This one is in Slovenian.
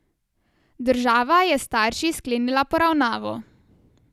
Država je s starši sklenila poravnavo.